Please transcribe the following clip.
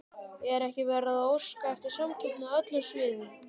Er ekki verið að óska eftir samkeppni á öllum sviðum?